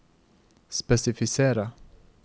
spesifisere